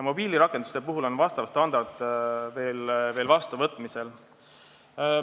Mobiilirakenduste kohta on standard vastuvõtmisel.